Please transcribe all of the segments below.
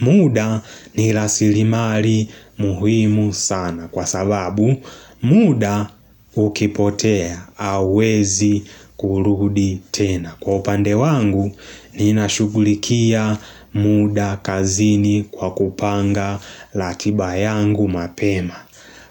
Muda nilasilimari muhimu sana kwa sababu, muda ukipotea hauwezi kurudi tena. Kwa upande wangu nina shugulikia muda kazini kwa kupanga latiba yangu mapema.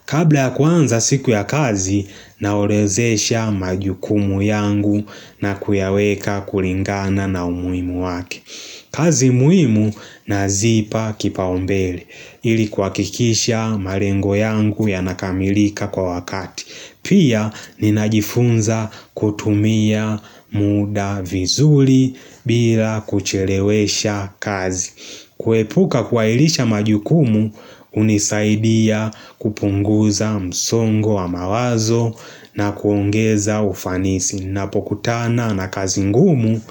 Kabla ya kwanza siku ya kazi na orozesha majukumu yangu na kuyaweka kulingana na umuhimu wake. Kazi muhimu nazipa kipaombele, ili kuwakikisha marengo yangu yanakamilika kwa wakati. Pia ninajifunza kutumia muda vizuli bila kuchelewesha kazi. Kuepuka kuailisha majukumu unisaidia kupunguza msongo wa mawazo na kuongeza ufanisi Napokutana na kazingumu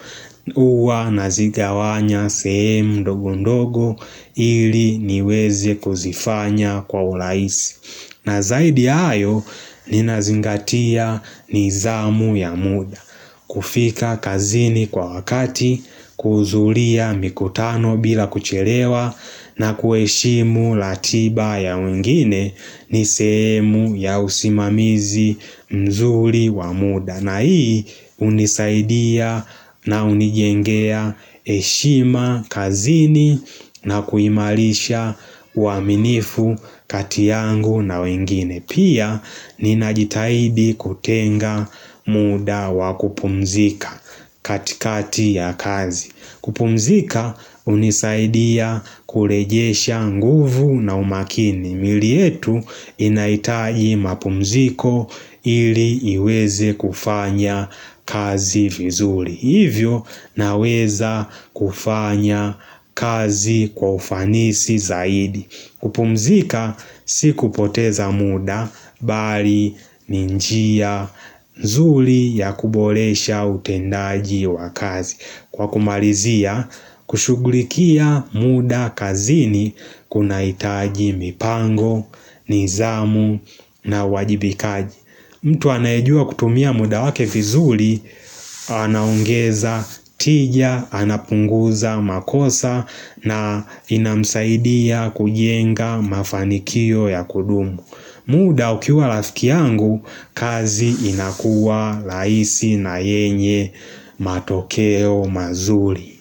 Huwa nazigawanya sehemu ndogo ndogo ili niweze kuzifanya kwa ulaisi na zaidi ya hayo ninazingatia nizamu ya muda, kufika kazini kwa wakati, kuhuzulia mikutano bila kucherewa na kuheshimu ratiba ya wengine nisehemu ya usimamizi mzuri wa muda. Na hii hunisaidia na unijengea heshima kazini na kuimalisha uaminifu kati yangu na wengine. Pia ninajitahidi kutenga muda wa kupumzika katikati ya kazi. Kupumzika hunisaidia kulejesha nguvu na umakini. Mili yetu inahitaji mapumziko i ili iwezi kufanya kazi vizuri Hivyo naweza kufanya kazi kwa ufanisi zaidi kupumzika si kupoteza muda bari ninjia nz zuli ya kubolesha utendaji wa kazi Kwa kumalizia, kushughulikia muda kazini kuna itaji mipango, nizamu na wajibikaji, mtu anaejua kutumia muda wake vizuli, aah anaongeza tija, anapunguza makosa na inamsaidia kujenga mafanikio ya kudumu muda ukiwa rafiki yangu, kazi inakuwa rahisi na yenye matokeo mazuli.